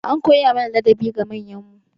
An koya mana ladabi ga manyan mu.